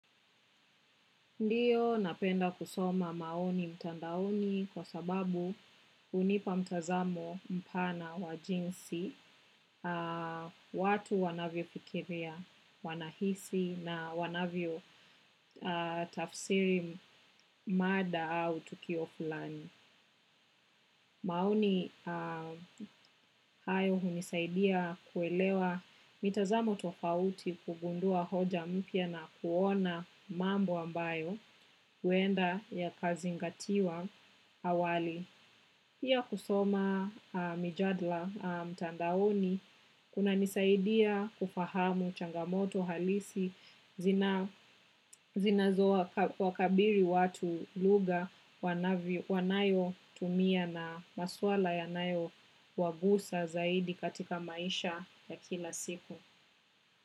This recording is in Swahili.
Ndio napenda kusoma maoni mtandaoni kwa sababu hunipa mtazamo mpana wa jinsi, watu wanavyofikiria wanahisi na wanavyotafsiri mada au tukio fulani. Maoni hayo hunisaidia kuelewa mitazamo tofauti kugundua hoja mpya na kuona mambo ambayo huenda yakazingatiwa awali. Piya kusoma mijadla mtandaoni kunanisaidia kufahamu changamoto halisi zinazowakabiri watu lugha wanayotumia na masuala yanayo wagusa zaidi katika maisha ya kila siku.